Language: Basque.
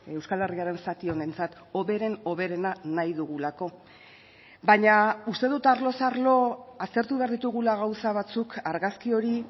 euskal herriaren zati honentzat hoberen hoberena nahi dugulako baina uste dut arloz arlo aztertu behar ditugula gauza batzuk argazki hori